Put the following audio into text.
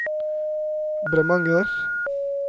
Bremanger